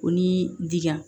O ni diyan